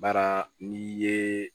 Baara n'i ye